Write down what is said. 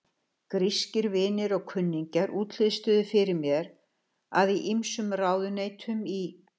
Grískir vinir og kunningjar útlistuðu fyrir mér, að í ýmsum ráðuneytum í